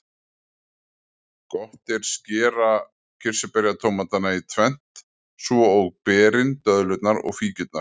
Gott er skera kirsuberjatómatana í tvennt, svo og berin, döðlurnar og fíkjurnar.